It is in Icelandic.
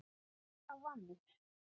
Það vann